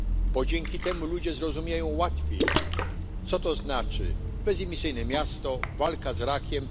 Bo dzięki temu ludzie zrozumieją łatwiej, co to znaczy bezemisyjne miasto, walka z rakiem.